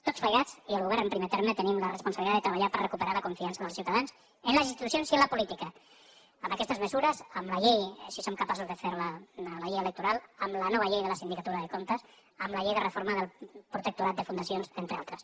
tots plegats i el govern en primer terme tenim la responsabilitat de treballar per recuperar la confiança dels ciutadans en les institucions i en la política amb aquestes mesures amb la llei si som capaços de fer la la llei electoral amb la nova llei de la sindicatura de comptes amb la llei de reforma del protectorat de fundacions entre altres